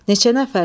Neçə nəfərsiz?